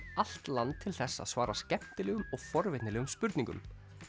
allt land til þess að svara skemmtilegum og forvitnilegum spurningum